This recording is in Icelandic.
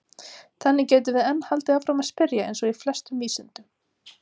Þannig getum við enn haldið áfram að spyrja eins og í flestum vísindum!